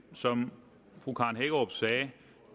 som fru karen hækkerup sagde